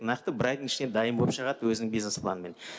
мынаяқта бір айдың ішінде дайын боп шығады өзіңің бизнес планмен